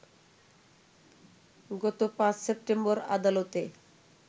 গত ৫ সেপ্টেম্বর আদালতে